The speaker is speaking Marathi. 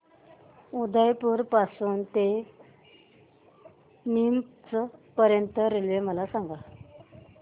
उदयपुर पासून ते नीमच पर्यंत च्या रेल्वे मला सांगा